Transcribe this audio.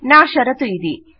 నా షరతు ఇది